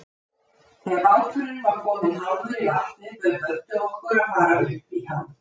Þegar báturinn var kominn hálfur í vatnið, bauð Böddi okkur að fara upp í hann.